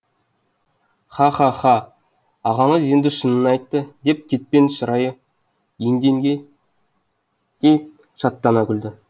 ха ха ха ағамыз енді шынын айтты деп кетпен шырайы енгендей шаттана күлді